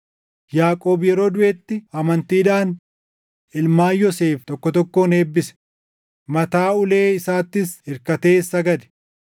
Yaaqoob yeroo duʼetti amantiidhaan ilmaan Yoosef tokko tokkoon eebbise; mataa ulee isaatti irkatees sagade.